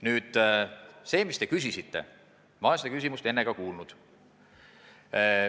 Aga seda küsimust, mis te küsisite, ma olen enne ka kuulnud.